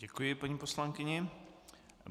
Děkuji paní poslankyni.